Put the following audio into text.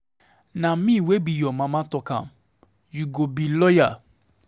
Na me wey be your mama talk am, you go be lawyer.